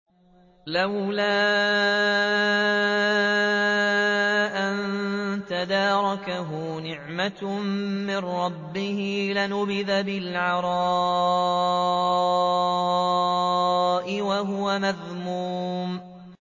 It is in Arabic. لَّوْلَا أَن تَدَارَكَهُ نِعْمَةٌ مِّن رَّبِّهِ لَنُبِذَ بِالْعَرَاءِ وَهُوَ مَذْمُومٌ